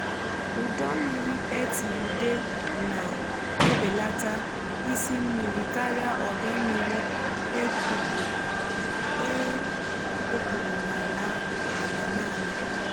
ụdọ mmiri e tiri ude na-ebelata isị mmiri karịa ọdọ mmiri e kpụpụ n’ala naanị.